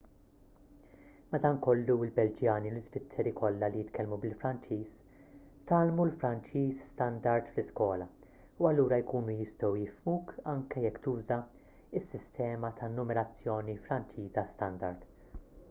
madankollu il-belġjani u l-iżvizzeri kollha li jitkellmu bil-franċiż tgħallmu l-franċiż standard fl-iskola u allura jkunu jistgħu jifhmuk anke jekk tuża s-sistema ta' numerazzjoni franċiża standard